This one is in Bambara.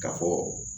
Ka fɔ